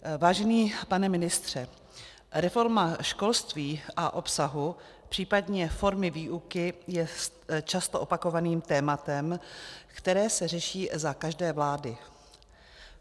Vážený pane ministře, reforma školství a obsahu, případně formy výuky je často opakovaným tématem, které se řeší za každé vlády.